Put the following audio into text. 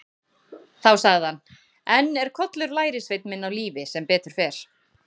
Þá sagði hann: Enn er Kollur lærisveinn minn á lífi sem betur fer.